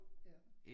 Ja